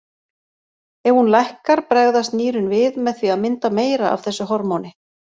Ef hún lækkar bregðast nýrun við með því að mynda meira af þessu hormóni.